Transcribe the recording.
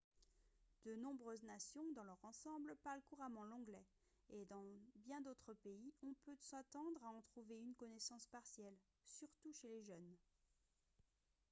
de nombreuses nations dans leur ensemble parlent couramment l'anglais et dans bien d'autres pays on peut s'attendre à en trouver une connaissance partielle surtout chez les jeunes